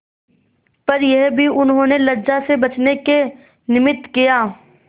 पर यह भी उन्होंने लज्जा से बचने के निमित्त किया